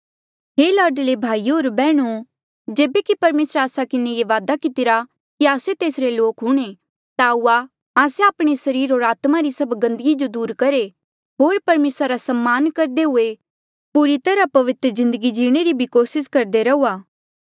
हे लाडले भाईयो होर बैहणो जेबे कि परमेसरे आस्सा किन्हें ये वादा कितिरा कि आस्से तेसरे लोक हूंणे ता आऊआ आस्से आपणे सरीर होर आत्मा री सब गंदगी जो दूर करहे होर परमेसरा रा सम्मान करदे हुए पूरी तरहा पवित्र जिन्दगी जीणे री भी कोसिस करदे रहुआ